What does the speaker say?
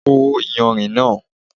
Kó iyanrìn náà!